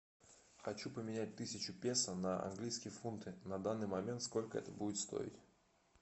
хочу поменять тысячу песо на английские фунты на данный момент сколько это будет стоить